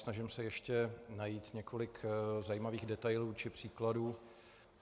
Vynasnažím se ještě najít několik zajímavých detailů či příkladů.